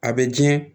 A bɛ diɲɛ